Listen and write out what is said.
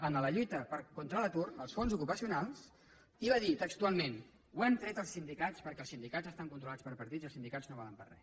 en la lluita contra l’atur als fons ocupacionals i va dir textualment ho hem tret als sindicats perquè els sindicats estan controlats per partits i els sindicats no valen per a res